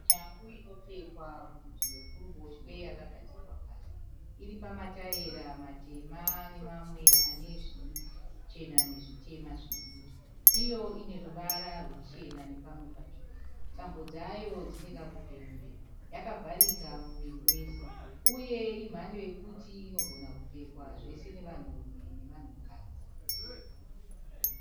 Shangu inopfekwa kurutivi rwekuruboshwe yakagadzikwa pasi. Iri pamataera matema nemamwe ane zvichena nezvitema zvidiki. Iyo ine ruvara ruchena nepamwe patsvuku. Tambo dzayo dzine kakupenyerera. Yakavharika muviri wese uye imhando yokuti inogona kupfekwa zvose nevanhurume nevanhukadzi.